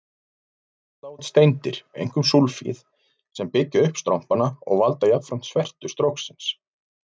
Þá falla út steindir, einkum súlfíð, sem byggja upp strompana og valda jafnframt svertu stróksins.